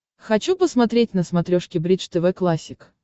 хочу посмотреть на смотрешке бридж тв классик